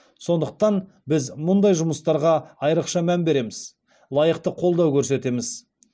сондықтан біз мұндай жұмыстарға айрықша мән береміз лайықты қолдау көрсетеміз